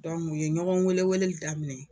u ye ɲɔgɔn weeleweeleli daminɛ.